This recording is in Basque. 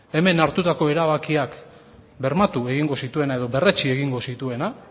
hemen hartutako erabakiak bermatu egingo zituena edo berretsi egingo zituena